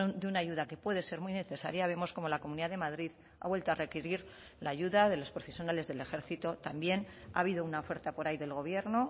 de una ayuda que puede ser muy necesaria vemos cómo la comunidad de madrid ha vuelto a requerir la ayuda de los profesionales del ejército también ha habido una oferta por ahí del gobierno